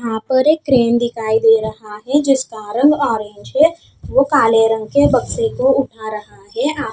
यहाँ पर एक क्रैन दिखाई दे रहा है जिसका रंग ओरेंज है वो काले रंग के बक्से को उठा रहा है आ--